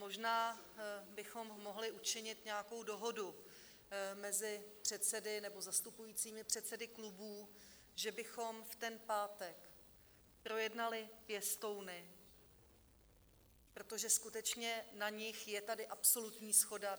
Možná bychom mohli učinit nějakou dohodu mezi předsedy nebo zastupujícími předsedy klubů, že bychom v ten pátek projednali pěstouny, protože skutečně na nich je tady absolutní shoda.